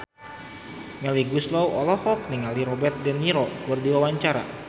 Melly Goeslaw olohok ningali Robert de Niro keur diwawancara